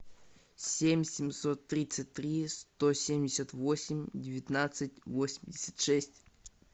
семь семьсот тридцать три сто семьдесят восемь девятнадцать восемьдесят шесть